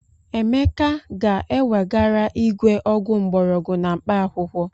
Emeka ga-ewegara igwe ọgwụ mgbọrọgwụ na mkpaakwụkwọ.